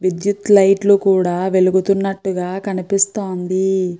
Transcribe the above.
విద్యుత్ లైట్ లు కూడా వెలుగుతున్నట్టు కనిపిస్తోంది.